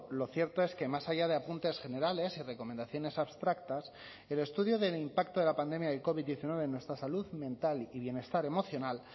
lo cierto es que más allá de apuntes generales y recomendaciones abstractas el estudio del impacto de la pandemia del covid diecinueve en nuestra salud mental y bienestar emocional